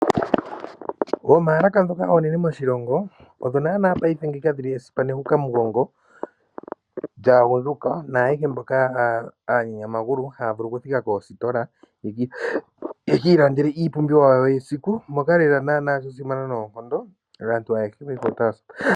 Oomalaka ndhoka oonene moshilongo odho naana payife dhili esipamugongo lyaagundjuka naayehe mboka aanyanyamagulu haya vulu okuthika koositola ye ki ilandele iipumbiwa yawo yesiku moka lela naana shasimana noonkondo kaantu ayehe.